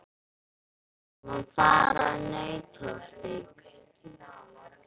Við ætlum að fara í Nauthólsvík.